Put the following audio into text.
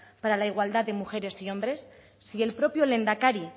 para la igualdad de mujeres y hombres si el propio lehendakari